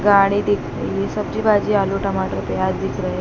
गाड़ी दिख रही है सब्ज़ी भाजी आलू टमाटर प्याज़ दिख रहे --